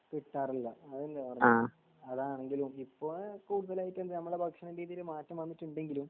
കിട്ടാറില്ല അതല്ലേ പറഞ്ഞെ അതാണെങ്കിലും ഇപ്പൊ കൂടുതലായിട്ട് നമ്മളെ ഭക്ഷണ രീതിയിൽ മാറ്റം വന്നിട്ടുണ്ടെങ്കിലും